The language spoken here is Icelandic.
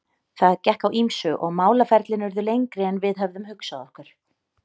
Það gekk á ýmsu og málaferlin urðu lengri en við höfðum hugsað okkur.